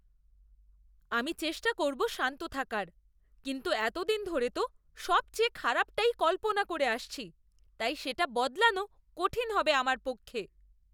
আমি চেষ্টা করব শান্ত থাকার কিন্তু এতদিন ধরে তো সবচেয়ে খারাপটাই কল্পনা করে আসছি তাই সেটা বদলানো কঠিন হবে আমার পক্ষে।